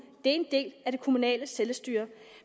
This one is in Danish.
en del af det kommunale selvstyre